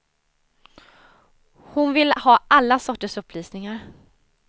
Hon vill ha alla sorters upplysningar.